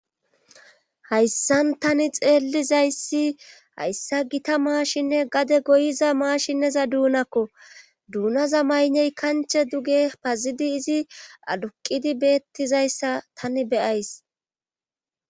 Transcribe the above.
hayssan tani xeellizayssi hayssa gita maashinne gade goyiza maashineza duunakko duunaza mayney kanche duge pazidi izi aduqidi beettizayssa tani be'ays